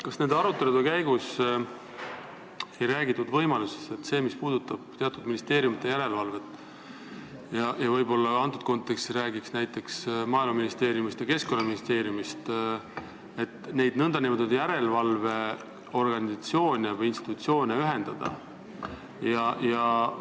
Kas nende arutelude käigus ei räägitud võimalusest, et mis puudutab teatud ministeeriumite järelevalvet, võib-olla antud kontekstis räägiks näiteks Maaeluministeeriumist ja Keskkonnaministeeriumist, siis võiks nende nn järelevalveorganisatsioone või -institutsioone ühendada?